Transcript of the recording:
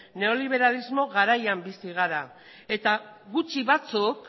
neoliberalismo garaian bizi gara eta gutxi batzuk